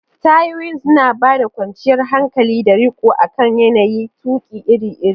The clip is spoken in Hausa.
Tayoyin suna ba da kwanciyar hankali da riko akan yanayin tuƙi iri-iri.